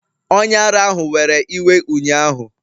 Onye ara ahụ were iwe ụnyahụ